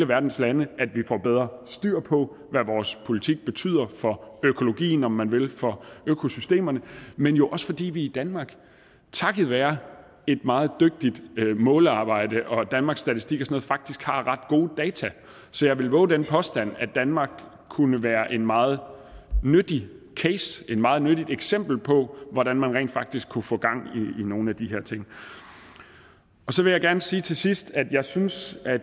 verdens lande at vi får bedre styr på hvad vores politik betyder for økologien om man vil for økosystemerne men jo også fordi vi i danmark takket være et meget dygtigt målearbejde og danmarks statistik og sådan faktisk har ret gode data så jeg vil vove den påstand at danmark kunne være en meget nyttig case et meget nyttigt eksempel på hvordan man rent faktisk kunne få gang i nogle af de her ting så vil jeg gerne sige til sidst at jeg synes at